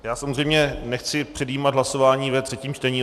Já samozřejmě nechci předjímat hlasování ve třetím čtení.